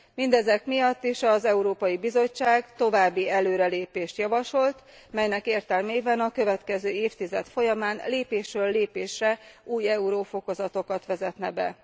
Mindezek miatt az Európai Bizottság további előrelépést javasolt, melynek értelmében a következő évtized folyamán lépésről lépésre új euro fokozatokat vezetne be.